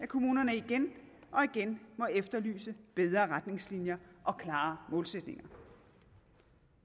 kommunerne igen og igen må efterlyse bedre retningslinjer og klare målsætninger